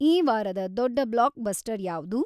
ಈ ವಾರದ ದೊಡ್ಡ ಬ್ಲಾಕ್ಬಸ್ಟರ್ ಯಾವುದು